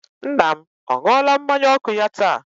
Nna m ọ ṅụọla mmanya ọkụ ya taa?